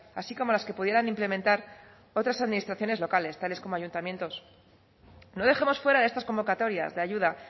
así como las que pudieran implementar otras administraciones locales tales como ayuntamientos no dejemos fuera de estas convocatorias de ayuda